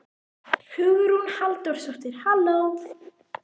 Hugrún Halldórsdóttir: Halló?